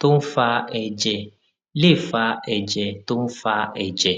tó ń fa èjè lè fa èjè tó ń fa èjè